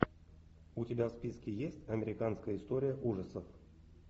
у тебя в списке есть американская история ужасов